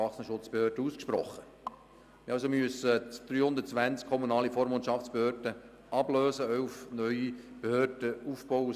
Der Kanton und die Burger mussten 320 kommunale Vormundschaftsbehörden ablösen und insgesamt zwölf neue Behörden aufbauen.